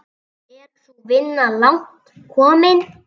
Er sú vinna langt komin.